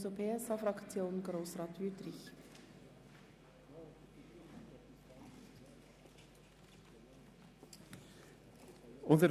Für die SP-JUSO-PSA-Fraktion hat Grossrat Wüthrich das Wort.